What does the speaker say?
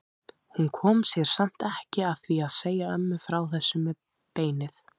Hún kom sér samt ekki að því að segja ömmu frá þessu með beinið.